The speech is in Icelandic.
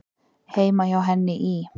Heima hjá henni í